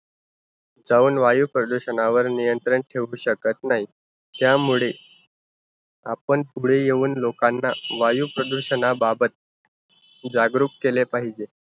त्याहून वायुप्रदूषणावर नियंत्रण ठेऊ शकत नाही. त्यामुळे, आपण पुढे येऊन लोकांना वायुप्रदूषणाबाबत जागरूक केले पाहिजे.